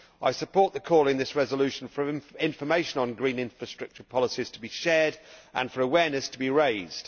I support the call in this resolution for information on green infrastructure policies to be shared and for awareness to be raised.